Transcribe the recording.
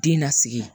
Den nasigi